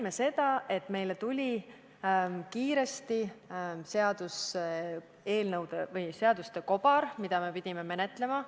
Me nägime, et meile tuli seaduste kobar, mida me pidime kiiresti menetlema.